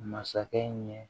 Masakɛ ɲɛ